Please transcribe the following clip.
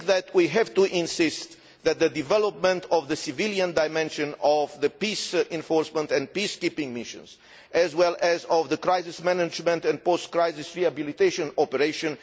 We have to insist on the development of the civilian dimension of the peace enforcement and peace keeping missions, as well as of the crisis management and post crisis rehabilitation operation.